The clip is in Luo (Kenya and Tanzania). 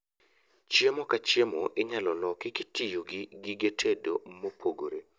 Chiemo ka chiemo inyalo loki kitiyogi gige tedo mopogore